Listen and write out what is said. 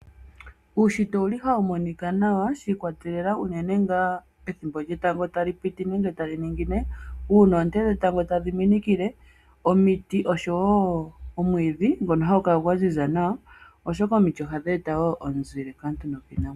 Uunshitwa owuli hawu monika nawa shiikwatelela uunene nga ethimbo lyetango tali piti nenge tali ningine, uuna oonte dhetango tadhiminikile omiti osho wo omwiidhi ngono hagukala gwaziza nawa, oshoka omiti ohadhi eta wo omizile kaantu nokiinamwenyo.